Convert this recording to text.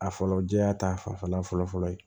A fɔlɔ jɛya ta fanfɛla fɔlɔ fɔlɔ ye